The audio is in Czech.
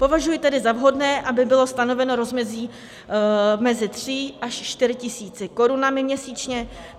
Považuji tedy za vhodné, aby bylo stanoveno rozmezí mezi 3 až 4 tisíci korun měsíčně.